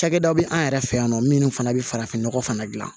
Cakɛda bɛ an yɛrɛ fɛ yan nɔ minnu fana bɛ farafinnɔgɔ fana dilan